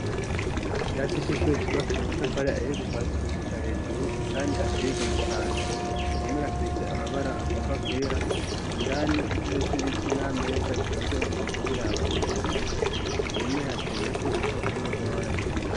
Ikirasi c'ishure cubakishijwe amatafari ahiye kuva hasi gushika hejuru, indani hateye igomwe cane. Ku mpome hasize amabara agomba kwera, indani intebe z'ibiti n'ameza bitonze umurongo biraba imbere. Ku mpome hateyeko ibipapuro vy'amabara menshi.